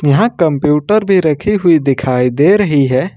यहां कंप्यूटर भी रखी हुई दिखाई दे रही है।